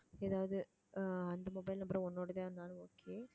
ஏதாவது அஹ் அந்த mobile number உன்னோட தான் இருந்தாலும் okay